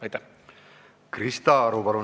Krista Aru, palun!